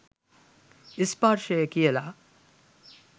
ස්පර්ශය කියල.